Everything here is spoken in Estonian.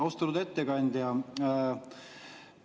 Austatud ettekandja!